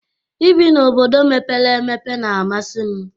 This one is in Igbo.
Ị bi na obodo mepere emepe n'amasi m